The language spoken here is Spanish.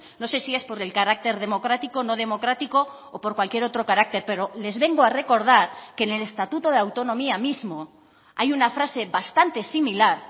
no sé si es por el carácter democrático no democrático o por cualquier otro carácter pero les vengo a recordar que en el estatuto de autonomía mismo hay una frase bastante similar